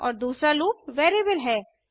और दूसरा loop variable है